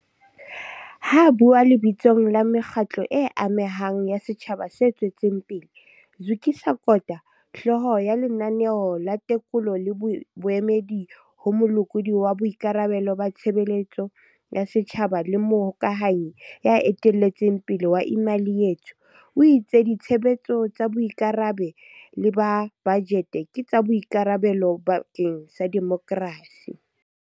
Ha a bua lebitsong la mekgatlo e amehang ya setjhaba se tswetseng pele, Zukiswa Kota, hlooho ya Lenaneo la Tekolo le Boemedi ho Molekodi wa Boikarabelo ba Tshebeletso ya Setjhaba le mohokahanyi ya eteletseng pele wa Imali Yethu, o itse ditshebetso tsa boikarabe lo ba bajete ke tsa boikarabelo bakeng sa demokrasi.